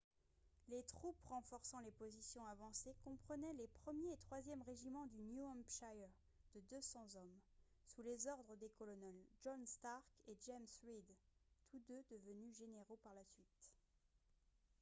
les troupes renforçant les positions avancées comprenaient les 1er et 3e régiments du new hampshire de 200 hommes sous les ordres des colonels john stark et james reed tous deux devenus généraux par la suite